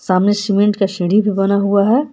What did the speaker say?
सामने सीमेंट का सीढ़ी भी बना हुआ हैं।